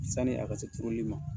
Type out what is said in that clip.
Sani a ka se turuli ma